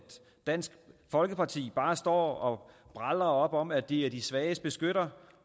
dansk folkeparti bare står og bralrer op om at de er de svages beskyttere